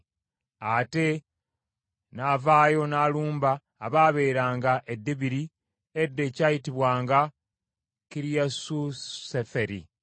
Ate n’avaayo n’alumba abaabeeranga e Debiri edda ekyayitibwanga Kiriasuseferi.